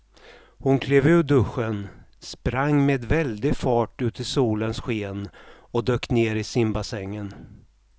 Hon klev ur duschen, sprang med väldig fart ut i solens sken och dök ner i simbassängen.